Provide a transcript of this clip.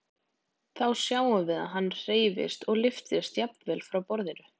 Þá sjáum við að hann hreyfist og lyftist jafnvel frá borðinu.